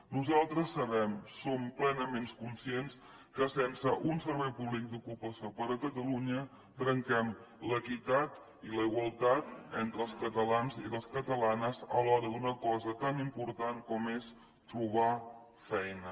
nosaltres sabem en som plenament conscients que sense un servei públic d’ocupació per a catalunya trenquem l’equitat i la igualtat entre els catalans i les catalanes a l’hora d’una cosa tan important com és trobar feina